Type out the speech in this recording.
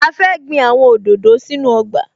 A fẹ́ gbin àwọn òdòdó sínú ọgbà